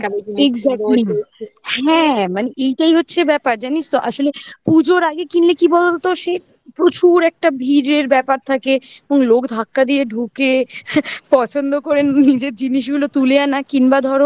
না makeup টা exactly হ্যাঁ মানে এটাই হচ্ছে ব্যাপার জানিস তো আসলে পুজোর আগে কিনলে কি বলতো সে প্রচুর একটা ভিড়ের ব্যাপার থাকে এবং লোক ধাক্কা দিয়ে ঢুকে পছন্দ করে নিজের জিনিসগুলো তুলে আনা কিংবা ধরো